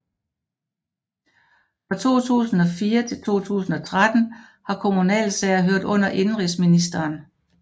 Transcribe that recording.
Fra 2004 til 2013 har kommunalsager hørt under indenrigsministeren